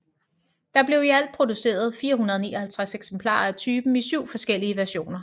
Der blev i alt produceret 459 eksemplarer af typen i syv forskellige versioner